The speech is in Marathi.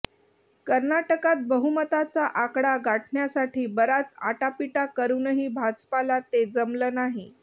कर्नाटकात बहुमताचा आकडा गाठण्यासाठी बराच आटापिटा करूनही भाजपाला ते जमलं नाही